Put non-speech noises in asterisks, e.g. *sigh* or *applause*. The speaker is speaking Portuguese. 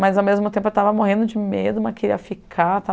Mas, ao mesmo tempo, eu estava morrendo de medo *unintelligible* que ia ficar.